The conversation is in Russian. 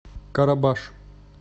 карабаш